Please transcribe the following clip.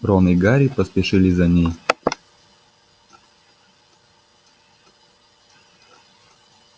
рон и гарри поспешили за ней